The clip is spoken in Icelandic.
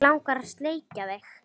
Mig langar að sleikja þig.